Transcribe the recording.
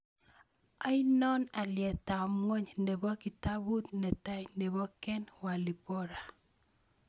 Ainon alyetap ng'wony ne po kitaabut ne tai ne po Ken Walibora